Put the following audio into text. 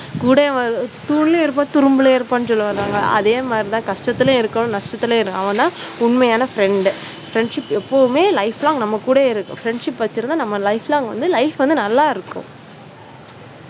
கூடவே தூணிலும் இருப்பான் துரும்பிலும் இருப்பான் சொல்லுவாங்க இல்லையா. அதே மாதிரி தான் கஷ்டத்திலும் இருக்கணும் நஷ்டத்திலும் இருக்கணும் அவன்தான் உண்மையான friend friendship எப்பொழுதுமே life ல நம்ம கூடவே இருக்கோம். friendship வச்சிருந்தா நம்ம life long வந்து life வந்து நல்லா இருக்கோம்.